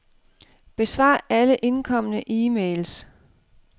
Besvar alle indkomne e-mails.